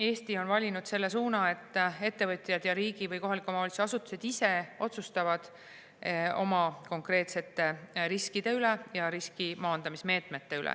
Eesti on valinud selle suuna, et ettevõtjad ja riigi- või kohaliku omavalitsuse asutused ise otsustavad oma konkreetsete riskide ja riski maandamise meetmete üle.